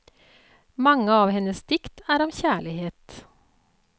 Mange av hennes dikt er om kjærlighet.